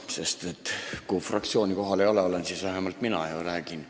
Kui ülejäänud fraktsiooni kohal ei ole, siis vähemalt mina olen ja räägin.